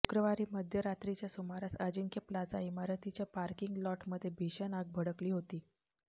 शुक्रवारी मध्यरात्रीच्या सुमारास अजिंक्य प्लाझा इमारतीच्या पार्किंग लॉटमध्ये भीषण आग भडकली होती